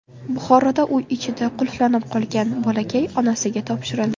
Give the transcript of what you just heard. Buxoroda uy ichida qulflanib qolgan bolakay onasiga topshirildi.